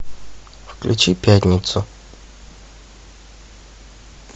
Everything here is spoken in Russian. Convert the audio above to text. включи пятницу